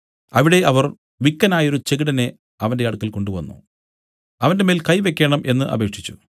അവിടെ അവർ വിക്കനായൊരു ചെകിടനെ അവന്റെ അടുക്കൽ കൊണ്ടുവന്നു അവന്റെമേൽ കൈ വെയ്ക്കേണം എന്നു അപേക്ഷിച്ചു